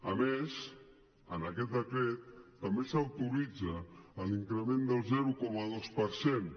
a més en aquest decret també s’autoritza l’increment del zero coma dos per cent